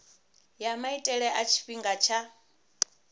ya maitele a tshifhinga tsha